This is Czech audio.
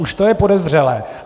Už to je podezřelé.